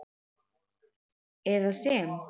eða sem